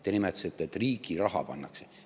Te nimetasite, et riigi raha pannakse.